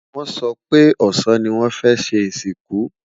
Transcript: wón so pé ọsán ní wón fẹ ṣé ìsìnkú